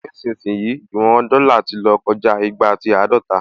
Nísìyìí, ìwọn dọ́là ti lọ́ kọjá igba àti àádọta